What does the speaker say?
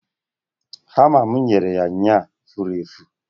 hama m nyere ya ụnyaahụ fụrụ efụ